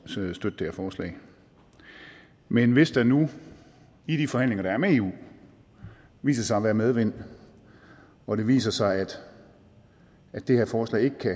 til at støtte det her forslag men hvis der nu i de forhandlinger der er med eu viser sig at være medvind og det viser sig at det her forslag ikke kan